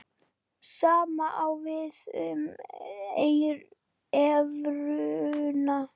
Sama á við um evruna.